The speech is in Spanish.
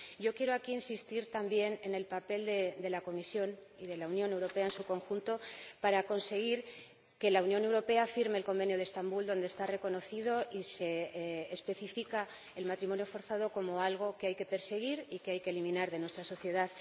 Yo quiero aquí insistir también en el papel de la Comisión y de la Unión Europea en su conjunto para conseguir que la Unión Europea firme el Convenio de Estambul, en el que el matrimonio forzado se reconoce y se especifica como algo que hay que perseguir y que hay que eliminar de nuestra sociedad.